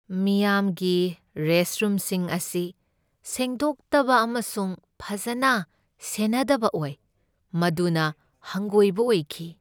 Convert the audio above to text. ꯃꯤꯌꯥꯝꯒꯤ ꯔꯦꯁꯠꯔꯨꯝꯁꯤꯡ ꯑꯁꯤ ꯁꯦꯡꯗꯣꯛꯇꯕ ꯑꯃꯁꯨꯡ ꯐꯖꯅ ꯁꯦꯟꯅꯗꯕ ꯑꯣꯏ, ꯃꯗꯨꯅ ꯍꯪꯒꯣꯏꯕ ꯑꯣꯏꯈꯤ꯫